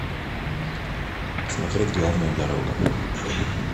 смотреть главная дорога